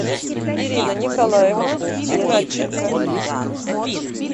ирина николаевна игнатченко